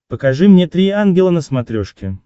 покажи мне три ангела на смотрешке